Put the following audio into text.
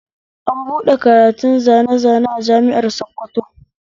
An buɗe karatun zane zane a jami'ar sokoto